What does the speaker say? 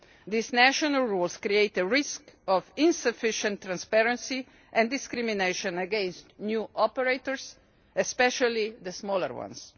These national rules create a risk of insufficient transparency and discrimination against new operators, especially the smaller ones.